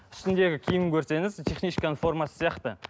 үстіндегі киімін көрсеңіз техничканың формасы сияқты